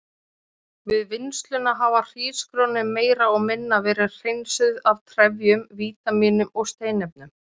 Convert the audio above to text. Við vinnsluna hafa hrísgrjónin meira og minna verið hreinsuð af trefjum, vítamínum og steinefnum.